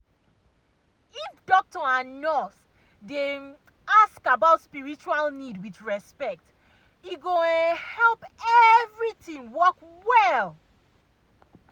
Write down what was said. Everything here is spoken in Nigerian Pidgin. if doctor and nurse dey um ask about spiritual need with respect e go um help everything um work well.